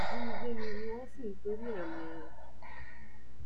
ìjínigbé ni wọn sì torí ẹ mú un